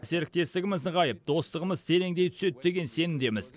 серіктестігіміз нығайып достығымыз тереңдей түседі деген сенімдеміз